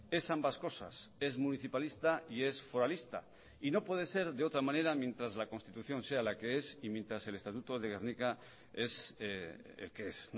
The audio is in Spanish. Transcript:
es ambas cosas es municipalista y es foralista y no puede ser de otra manera mientras la constitución sea la que es y mientras el estatuto de gernika es el que es